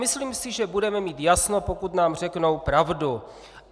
Myslím si, že budeme mít jasno, pokud nám řeknou pravdu.